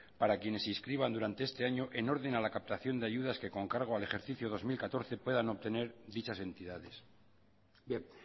para quienes se inscriban este año en orden a la captación de ayudas que con cargo al ejercicio dos mil catorce puedan obtener dichas entidades bien